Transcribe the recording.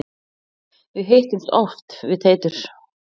Við hittumst oft við Teitur.